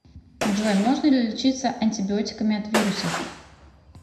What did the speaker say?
джой можно ли лечиться антибиотиками от вирусов